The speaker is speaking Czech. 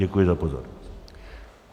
Děkuji za pozornost.